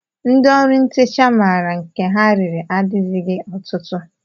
Ndị ọrụ ntecha maara nke ha riri adịzighị ọtụtụ